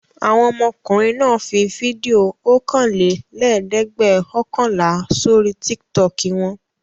Àwọn ọmọkùnrin náà fi fídíò ọ̀kanlẹ́ẹ̀dẹ́gbẹ̀ọ̀kànlá sórí Tiktok wọn?